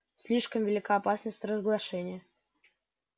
слишком велика опасность разглашения